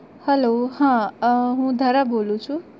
Hello હા અ હું ધરા બોલું છુ